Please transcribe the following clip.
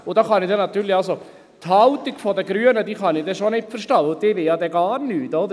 Hier kann ich natürlich die Haltung der Grünen nicht verstehen, denn die wollen ja dann gar nichts;